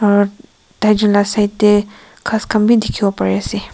aro taijun lah side teh ghas khan bhi dikhiwo pari ase.